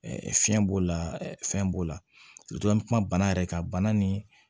Fiɲɛ b'o la fɛn b'o la an bɛ kuma bana yɛrɛ kan bana ni